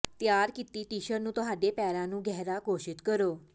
ਤਿਆਰ ਕੀਤੀ ਟਿਸ਼ਰ ਨੂੰ ਤੁਹਾਡੇ ਪੈਰਾਂ ਨੂੰ ਗਹਿਰਾ ਘੋਸ਼ਿਤ ਕਰੋ